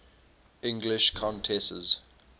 english countesses